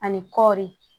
Ani kɔɔri